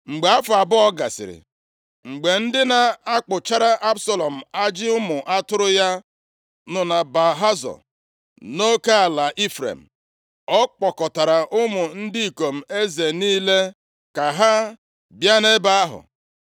Mgbe afọ abụọ gasịrị, mgbe ndị na-akpụchara Absalọm ajị ụmụ atụrụ ya nọ na Baal-Hazọ, nʼoke ala Ifrem, ọ kpọkọtara ụmụ ndị ikom eze niile ka ha bịa nʼebe ahụ.